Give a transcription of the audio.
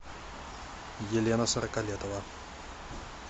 елена сороколетова